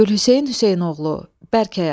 Gülhüseyn Hüseynoğulu, Bərk Ayğada.